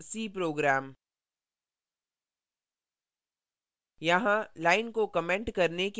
my first c program